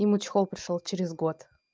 ему чехол пришёл через год